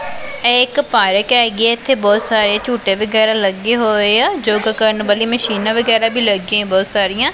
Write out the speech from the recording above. ਇਹ ਇਕ ਪਾਰਕ ਹੈਗੀ ਹੈ। ਇਥੇ ਬਹੁਤ ਸਾਰੇ ਝੂਠੇ ਵਗੈਰਾ ਲੱਗੇ ਹੋਏ ਆ ਯੋਗਾ ਕਰਨ ਵਾਲੀ ਮਸ਼ੀਨਾਂ ਵਗੈਰਾ ਵੀ ਲੱਗਿਆ ਬਹੁਤ ਸਾਰੀਆਂ।